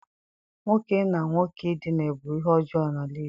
Nwoke na nwoke ị dina bu ihe ojoo n'ala Igbo.